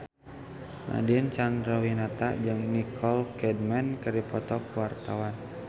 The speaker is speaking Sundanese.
Nadine Chandrawinata jeung Nicole Kidman keur dipoto ku wartawan